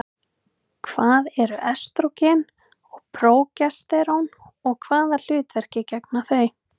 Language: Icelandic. Hvað eru estrógen og prógesterón og hvaða hlutverki gegna þau?